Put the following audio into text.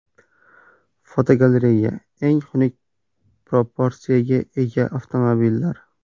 Fotogalereya: Eng xunuk proporsiyaga ega avtomobillar.